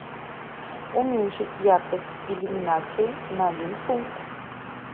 уменьшить яркость иллюминации на один пункт